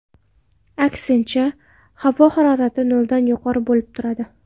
Aksincha, havo harorati noldan yuqori bo‘lib turadi.